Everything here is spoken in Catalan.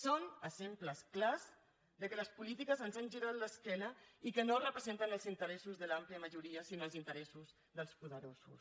són exemples clars que les polítiques ens han girat l’esquena i que no representen els interessos de l’àmplia majoria sinó els interessos dels poderosos